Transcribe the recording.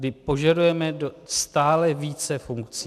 My požadujeme stále více funkcí.